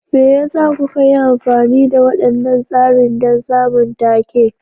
Me yasa kuka yi amfani da waɗannan tsarin don samun take?